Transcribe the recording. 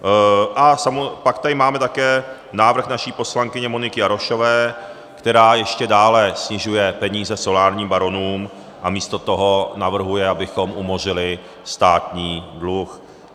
A pak tady máme také návrh naší poslankyně Moniky Jarošové, která ještě dále snižuje peníze solárním baronům a místo toho navrhuje, abychom umořili státní dluh.